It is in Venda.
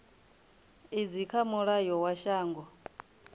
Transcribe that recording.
idzi kha mulayo wa shango